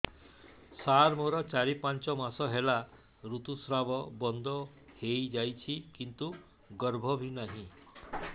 ସାର ମୋର ଚାରି ପାଞ୍ଚ ମାସ ହେଲା ଋତୁସ୍ରାବ ବନ୍ଦ ହେଇଯାଇଛି କିନ୍ତୁ ଗର୍ଭ ବି ନାହିଁ